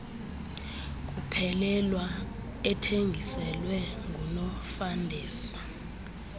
kuphelelwa ethengiselwa ngunofandesi